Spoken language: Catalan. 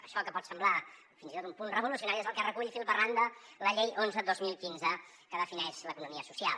això que pot semblar fins i tot un punt revolucionari és el que recull fil per randa la llei onze dos mil quinze que defineix l’economia social